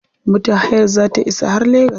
Motar hayar za ta isa har legas.